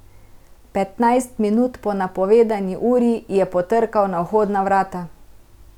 Petnajst minut po napovedani uri je potrkal na vhodna vrata.